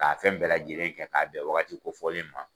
K'a fɛn bɛɛ lajɛlen kɛ k'a bɛn wagati kofɔlen in ma.